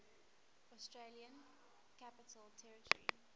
australian capital territory